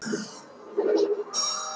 Ástæður tunglferðanna voru margvíslegar.